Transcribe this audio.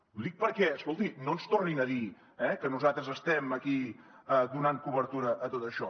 i ho dic perquè escolti no ens tornin a dir que nosaltres estem aquí donant cobertura a tot això